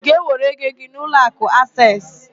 Ị ga-ewere ego gị n'ụlọakụ Aseesị?